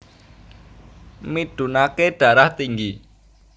Midunake Darah Tinggi